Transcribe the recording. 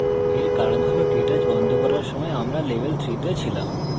এর কারণ হল কেটচ বন্ধ করার সময় আমরা level 3 that ছিলাম